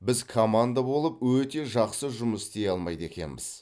біз команда болып өте жақсы жұмыс істей алмайды екенбіз